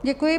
Děkuji.